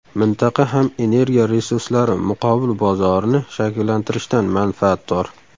Mintaqa ham energiya resurslari muqobil bozorini shakllantirishdan manfaatdor.